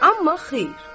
Amma xeyr.